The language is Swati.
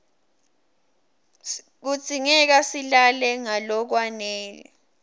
kudzingeka silale ngalokwanele